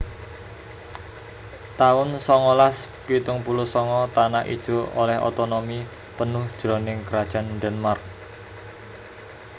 taun songolas pitung puluh sanga Tanah Ijo olèh otonomi penuh jroning Krajan Denmark